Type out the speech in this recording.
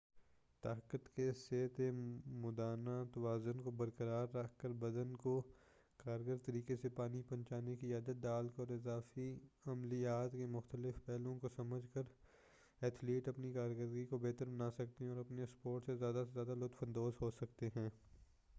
طاقت کے صحت مندانہ توازن کو برقرار رکھ کر بدن کو کارگر طریقہ سے پانی پہنچانے کی عادت ڈال کر اور اضافی عملیّات کے مختلف پہلوؤں کو سمجھ کر اتھلیٹ اپنی کارکردگی کو بہتر بنا سکتے اور اپنے اسپورٹ سے زیادہ لطف اندوز ہو سکتے ہیں